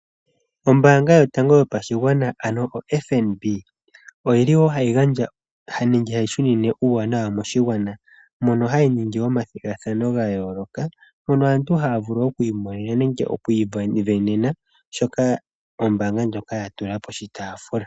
Ombanga yotango yopashigwana ano oFNB oyi li wo hayi gandja nenge hayi shunine uuwanawa moshigwana mono hayi ningi omathigathano ga yooloka mono aantu haya vulu okwiimonena nenge okwiivenena shoka ombanga ndjoka ya tula poshitafula.